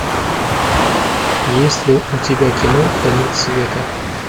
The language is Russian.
есть ли у тебя кино конец света